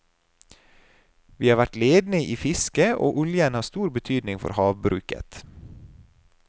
Vi har vært ledende i fiske, og oljen har stor betydning for havbruket.